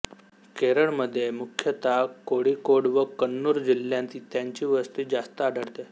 केरळमध्ये मुख्यत कोळिकोड व कण्णूर जिल्ह्यांत त्यांची वस्ती जास्त आढळते